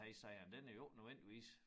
Han sagde at den er jo ikke nødvendigvis